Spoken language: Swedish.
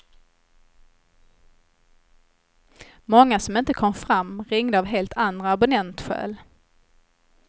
Många som inte kom fram ringde av helt andra abonnentskäl.